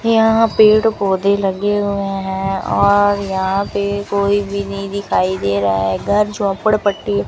यहां पेड़ पौधे लगे हुए हैं और यहां पे कोई भी नहीं दिखाई दे रहा है घर झोपड़पट्टी --